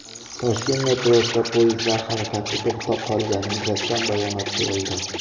Toshkent metrosida poyezdlar harakati to‘xtab qolgani yuzasidan bayonot berildi.